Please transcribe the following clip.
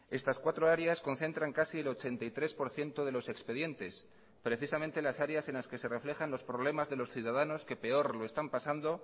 estas cuatro áreas concentran casi el ochenta y tres por ciento de los expedientes precisamente las áreas en las que se reflejan los problemas de los ciudadanos que peor lo están pasando